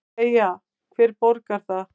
Freyja: Hver borgar það?